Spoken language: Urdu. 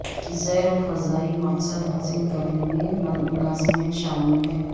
زیرو فضائی مقصد حاصل کرنے میں ملازمین شامل ہیں